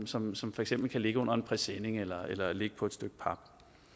som som for eksempel kan ligge under en presenning eller eller ligge på et stykke pap